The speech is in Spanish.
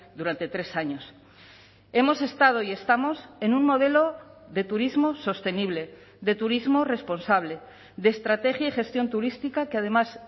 durante tres años hemos estado y estamos en un modelo de turismo sostenible de turismo responsable de estrategia y gestión turística que además